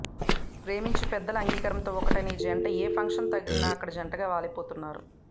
ప్రేమించి పెద్దల అంగీకారంతో ఒక్కటైన ఈ జంట ఏఫంక్షన్ తగిలినా అక్కడ జంటగా వాలిపోతున్నారు